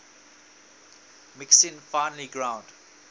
mixing finely ground